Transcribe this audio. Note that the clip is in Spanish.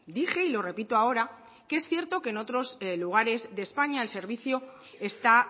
dije y lo repito ahora que es cierto que en otros lugares de españa al servicio está